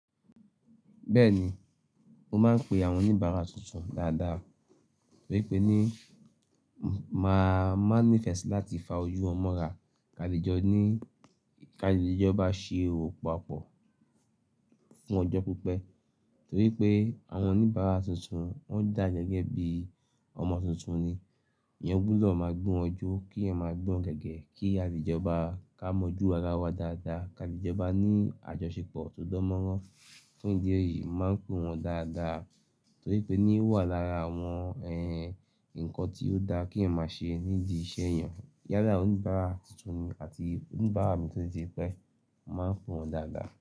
Bẹ́ẹ̀ni, mó máa ń pe àwọn oníbàárà tuntun dáadáa torí pé ni máa má ní ìfẹ́ láti fa oju won mọra kále jọ ní kále jo maa ṣe òwò papọ̀ fún ọjọ́ pípẹ́ torí pé àwọn oníbàárà tuntun wọ́n dà gẹ́gẹ́ bí ọmọ tuntun ni. Eẹyan gbọ́dọ̀ máa gbewon jọ́ kí ẹyan máa gbewon gẹ́gẹ́ kí àlejo ba ká mọ̀jú ara wa dáadáa káàle jọba ní àjọṣepọ̀ tó dán mọ́rán fún idi eyìí. Máa ń pe wọ́n dáadáa torí pé ni ó wà lára àwọn ẹ nǹkan tí ó dá kí ẹ máa ṣe nídi iṣẹ́ èèyàn. Yálà àwọn oníbàárà tuntun àti oníbàárà mi tó ti pẹ́ máa ń pe wọn dáadáa.